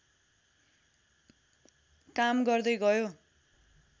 काम गर्दै गयो